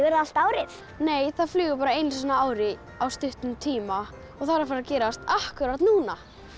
allt árið nei það flýgur bara einu sinni á ári á stuttum tíma og það er að fara að gerast akkúrat núna